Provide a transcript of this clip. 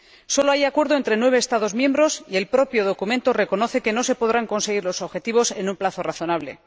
Sólo hay acuerdo entre nueve Estados miembros y el propio documento reconoce que no se podrán conseguir los objetivos en un plazo razonable.